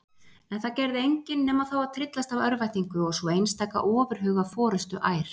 En það gerði engin nema þá að tryllast af örvæntingu og svo einstaka ofurhuga forustuær.